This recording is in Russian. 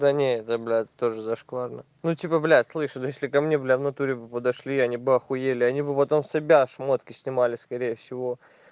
да не это блядь тоже зашкварно ну типа блять слышишь если ко мне бля в натуре бы подошли они бы ахуели они бы потом себя шмотки снимали скорее всего